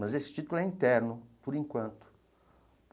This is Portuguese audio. Mas esse título é interno, por enquanto.